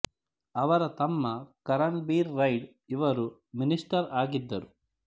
ಅವರ ತಮ್ಮ ಕರನ್ ಬಿರ್ ರೈಡ್ ಇವರು ಮಿನಿಷ್ಟರ್ ಆಗಿದ್ದರು